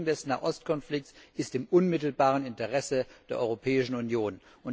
Die Lösung des Nahostkonflikts ist im unmittelbaren Interesse der Europäischen Union.